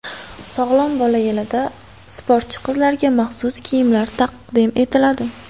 Sog‘lom bola yilida sportchi qizlarga maxsus kiyimlar taqdim etiladi.